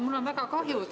Mul on väga kahju.